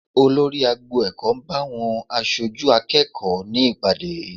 Olórí agbo ẹ̀kọ́ ń bá àwọn aṣojú akẹ́kọ̀ọ́ ní ìpàdé